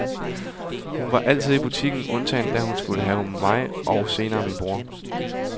Hun var altid i butikken, undtagen da hun skulle have mig og senere min bror.